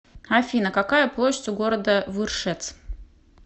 афина какая площадь у города выршец